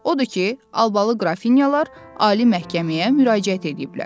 Odur ki, albalı qrafinyalar ali məhkəməyə müraciət ediblər.